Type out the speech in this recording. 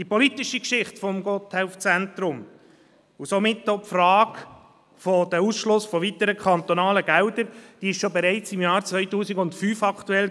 Die politische Geschichte des Gotthelf-Zentrums, und somit auch die Frage des Ausschlusses von weiteren kantonalen Geldern, war bereits im Jahr 2005 aktuell.